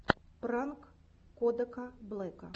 пранк кодака блэка